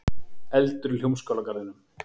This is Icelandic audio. Eldur í Hljómskálagarðinum